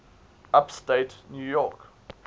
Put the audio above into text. upstate new york